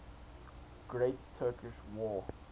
great turkish war